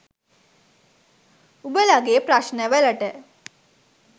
උඹලගෙ ප්‍රශ්න වලට